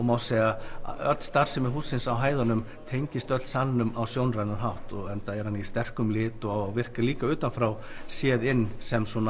má segja að öll starfsemi hússins á hæðunum tengist öll salnum á sjónrænan hátt enda er hann í sterkum lit og virkar líka utan frá séð inn sem